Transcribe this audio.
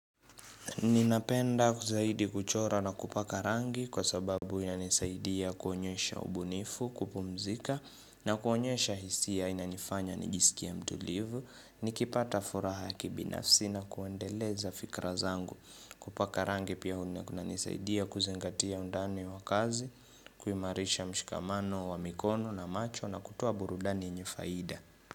Ninapenda zaidi kuchora na kupaka rangi kwa sababu inanisaidia kuonyesha ubunifu kupumzika na kuonyesha hisia, inanifanya nijisikie mtulivu, nikipata furaha ya kibinafsi na kuendeleza fikra zangu, kupaka rangi pia kunanisaidia kuzingatia undani wa kazi kuimarisha mshikamano wa mikono na macho na kutoa burudani yenye faida.